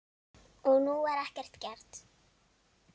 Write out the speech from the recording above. Og nú var ekkert gert.